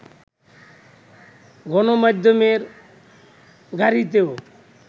গণমাধ্যমের গাড়িতেও